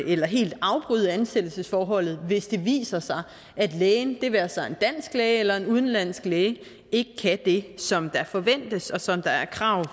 eller helt afbryde ansættelsesforholdet hvis det viser sig at lægen det være sig en dansk læge eller en udenlandsk læge ikke kan det som der forventes og som der er krav